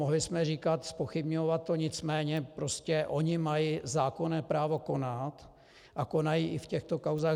Mohli jsme říkat, zpochybňovat to, nicméně prostě oni mají zákonné právo konat a konají i v těchto kauzách.